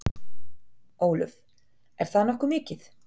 Ólöf: Er það ekki nokkuð mikið?